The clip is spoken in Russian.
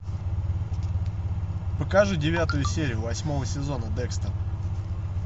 покажи девятую серию восьмого сезона декстер